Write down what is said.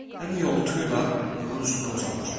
Həlim yoltu ilə onun üstünə uzanır.